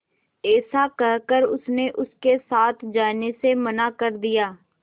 ऐसा कहकर उसने उनके साथ जाने से मना कर दिया